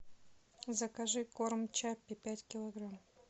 закажи корм чаппи пять килограмм